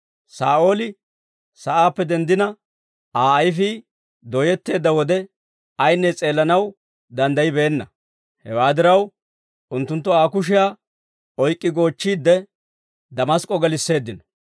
Saa'ooli sa'aappe denddina, Aa ayfii doyetteedda wode, ayinne s'eellanaw danddayibeenna; hewaa diraw, unttunttu Aa kushiyaa oyk'k'i goochchiide, Damask'k'o gelisseeddino.